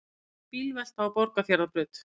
Bílvelta á Borgarfjarðarbraut